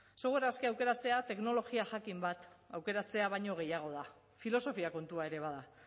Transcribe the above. software askea aukeratzea teknologia jakin bat aukeratzea baino gehiago da filosofia kontua ere bada